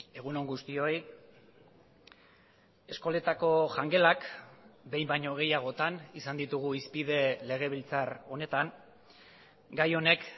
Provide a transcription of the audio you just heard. egun on guztioi eskoletako jangelak behin baino gehiagotan izan ditugu hizpide legebiltzar honetan gai honek